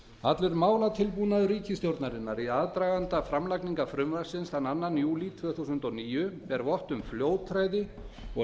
allur málatilbúnaður ríkisstjórnarinnar í aðdraganda framlagningar frumvarpsins þann annan júlí tvö þúsund og níu ber vott um fljótræði og